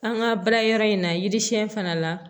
An ka baarakɛyɔrɔ in na yiri siɲɛ fana la